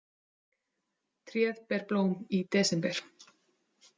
Tréð ber blóm i desember.